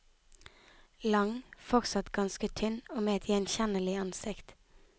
Lang, fortsatt ganske tynn, og med et gjenkjennelig ansikt.